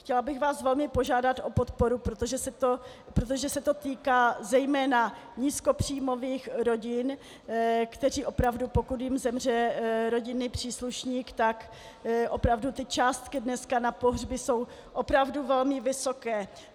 Chtěla bych vás velmi požádat o podporu, protože se to týká zejména nízkopříjmových rodin, které opravdu, pokud jim zemře rodinný příslušník, tak opravdu ty částky dneska na pohřby jsou opravdu velmi vysoké.